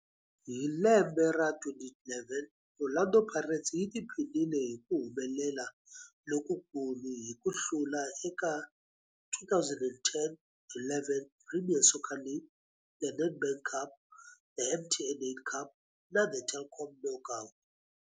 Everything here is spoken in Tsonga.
Hi lembe ra 2011, Orlando Pirates yi tiphinile hi ku humelela lokukulu hi ku hlula eka 2010-11 Premier Soccer League, The Nedbank Cup, The MTN 8 Cup na The Telkom Knockout.